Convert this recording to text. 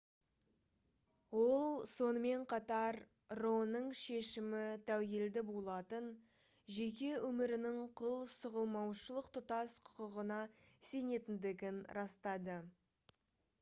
ол сонымен қатар ро-ның шешімі тәуелді болатын жеке өмірінің құл сұғылмаушылық тұтас құқығына сенетіндігін растады